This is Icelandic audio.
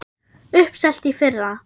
Uppselt í fyrra!